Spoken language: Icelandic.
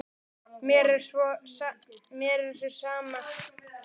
Mér er svo sem sama.